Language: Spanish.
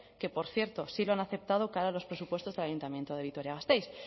que por cierto sí lo han aceptado cara a los presupuestos del ayuntamiento de vitoria gasteiz